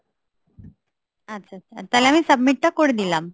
আচ্ছা আচ্ছা, তাহলে আমি submit টা করে দিলাম।